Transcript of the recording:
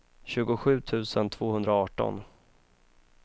tjugosju tusen tvåhundraarton